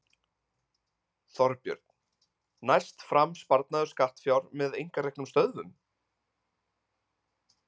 Þorbjörn: Næst fram sparnaður skattfjár með einkareknum stöðvum?